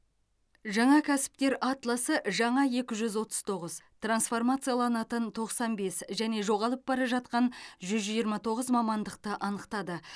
жаңа кәсіптер атласы жаңа екі жүз отыз тоғыз трансформацияланатын тоқсан бес және жоғалып бара жатқан жүз жиырма тоғыз мамандықты анықтады